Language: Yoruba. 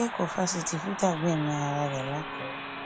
akẹkọọ fásitì fútà gbẹmí ara rẹ làkúrẹ